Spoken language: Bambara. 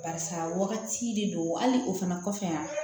Barisa wagati de don hali o fana kɔfɛ